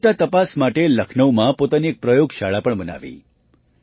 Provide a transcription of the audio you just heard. ગુણવત્તા તપાસ માટે લખનઉમાં પોતાની એક પ્રયોગશાળા પણ બનાવી